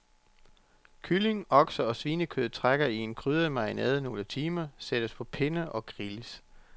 Kylling, okse- eller svinekød trækker i en krydret marinade nogle timer, sættes på pinde og grilles.